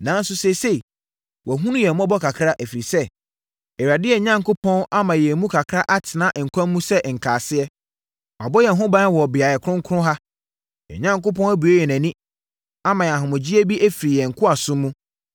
“Nanso, seesei, wɔahunu yɛn mmɔbɔ kakra, ɛfiri sɛ, Awurade, yɛn Onyankopɔn, ama yɛn mu kakra atena nkwa mu sɛ nkaaseɛ. Wabɔ yɛn ho ban wɔ beaeɛ kronkron ha. Yɛn Onyankopɔn abue yɛn ani, ama yɛn ahomegyeɛ bi afiri yɛn nkoasom mu.